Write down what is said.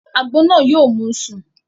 Àgbo náà yóò mú u sùn